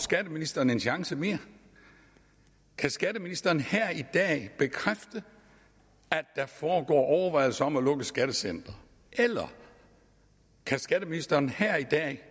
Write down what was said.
skatteministeren en chance mere kan skatteministeren her i dag bekræfte at der foregår overvejelser om at lukke skattecentre eller kan skatteministeren her i dag